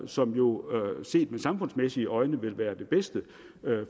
som jo set med samfundsmæssige øjne vil være det bedste